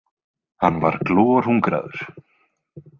Hann var glorhungraður.